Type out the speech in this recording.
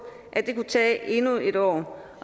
at det kunne tage endnu et år